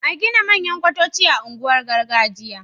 a Gina manyan kwatoci a unguwanin gargajiya